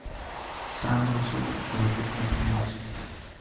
самый высокий человек на планете